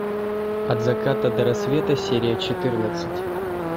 от заката до рассвета серия четырнадцать